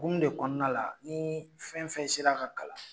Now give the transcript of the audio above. Gum de kɔnɔna la ni fɛn fɛn sera ka kalan